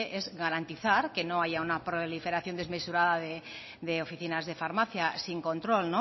es garantizar que no haya una proliferación desmesurada de oficinas de farmacia sin control